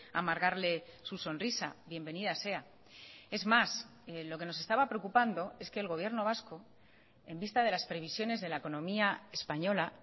amargarle su sonrisa bienvenida sea es más lo que nos estaba preocupando es que el gobierno vasco en vista de las previsiones de la economía española